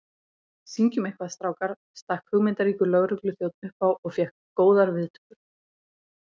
Syngjum eitthvað, strákar stakk hugmyndaríkur lögregluþjónn upp á og fékk góðar viðtökur.